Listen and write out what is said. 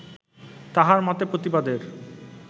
তাঁহার মতে প্রতিবাদের